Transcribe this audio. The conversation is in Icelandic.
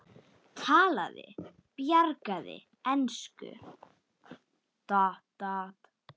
Talaði bjagaða ensku: